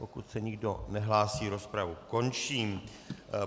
Pokud se nikdo nehlásí, rozpravu končím.